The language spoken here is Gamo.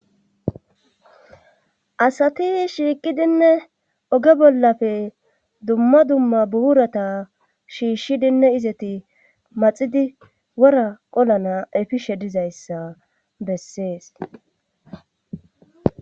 Asati shiiqidinne oge bollafe dumma dumma buurata shiishshidinne izati maxidi wora qolana efishe dizayssa bessees